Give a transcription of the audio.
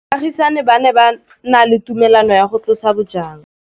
Baagisani ba ne ba na le tumalanô ya go tlosa bojang.